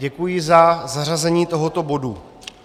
Děkuji za zařazení tohoto bodu.